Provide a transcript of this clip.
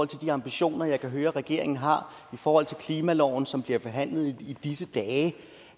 til de ambitioner jeg kan høre regeringen har og i forhold til klimaloven som bliver behandlet i disse dage